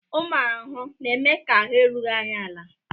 Ụmụ ahụhụ na-eme ka ahụ́ erughị anyị ala